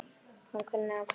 Hann kunni að kveðja.